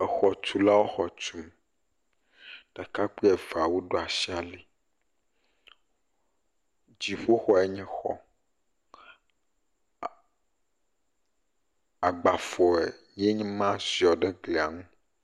Exɔtulawo xɔ tum. Ɖekakpui eveawo ɖo asi ali. Diƒoxɔe. agbafɔ ye nye ma ziɔ ɖe glai nu.